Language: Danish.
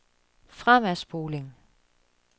fremadspoling